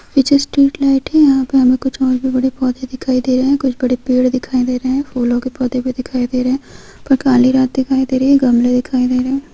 पीछे street light है| यहां पे हमें कुछ और भी बड़े भी पौधे दिखाई दे रहे हैं| कोई बड़े पेड़ दिखाई दे रहे हैं फूलों के पौधे दिखाई दे रहे हैं और काली रात दिखाई दे रही है गमले दिखाई दे रहे हैं।